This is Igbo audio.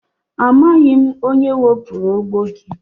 Amaghị m onye wepụrụ ogbo gị.